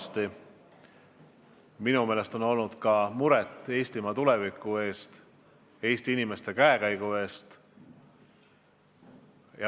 Aga minu meelest on tunda olnud ka muret Eestimaa tuleviku pärast, Eesti inimeste käekäigu pärast.